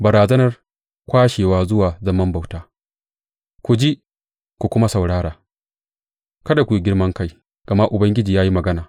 Barazanar kwashewa zuwa zaman bauta Ku ji ku kuma saurara, kada ku yi girman kai, gama Ubangiji ya yi magana.